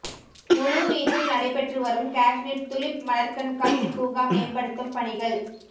முழுவீச்சில் நடைபெற்று வரும் காஷ்மீர் துலிப் மலர்க்கண்காட்சி பூங்கா மேம்படுத்தும் பணிகள்